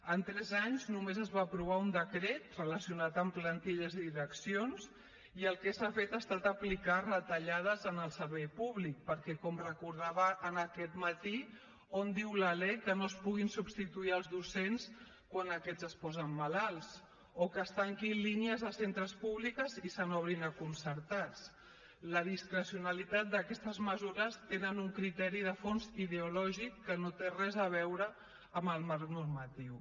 en tres anys només es va aprovar un decret relacionat amb plantilles i direccions i el que s’ha fet ha estat aplicar retallades en el servei públic perquè com recordava aquest matí on diu la lec que no es puguin substituir els docents quan aquests es posen malalts o que es tanquin línies a centres públics i se n’obrin a concertats la discrecionalitat d’aquestes mesures té un criteri de fons ideològic que no té res a veure amb el marc normatiu